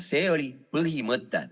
See oli põhimõte.